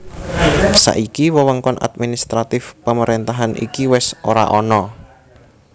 Saiki wewengkon administratif pemerentahan iki wis ora ana